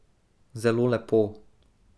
Zelo lepo.